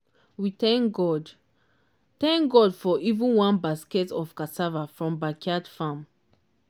we thank god thank god for even one basket of cassava from backyard farm